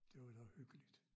Det var da hyggeligt